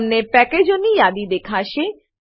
તમને પેકેજોની એક યાદી દેખાશે